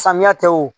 Samiya tɛ wo